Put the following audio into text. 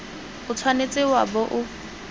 o tshwanetse wa bo o